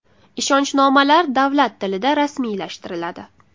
Ishonchnomalar davlat tilida rasmiylashtiriladi.